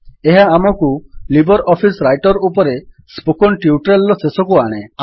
ଏହା ଆମକୁ LibreOffice writer ଉପରେ ସ୍ପୋକେନ୍ ଟ୍ୟୁଟୋରିଆଲ୍ ର ଶେଷକୁ ଆଣେ